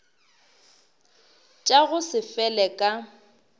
tša go se fele ka